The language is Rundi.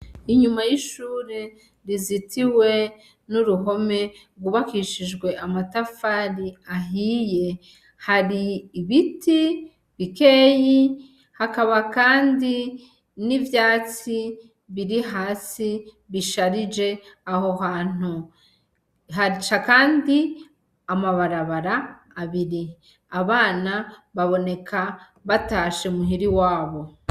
Inyuma y'ishure rizitiwe n'uruhome gw'ubakishijwe amatafari ahiye hari ibiti bikeyi hakaba Kandi n'ivyatsi birihasi bisharije aho hantu, haca kandi amabarabara abiri, abana baboneka batashe muhira iwabo.